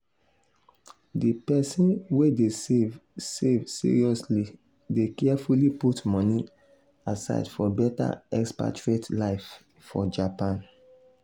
di person wey dey save save seriously dey carefully put moni aside for better expatriate life for japan.